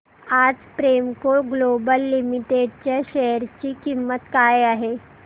आज Premco global limited च्या share ची किंमत काय आहे